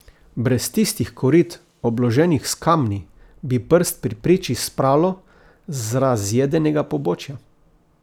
Brez tistih korit, obloženih s kamni, bi prst pri priči spralo z razjedenega pobočja.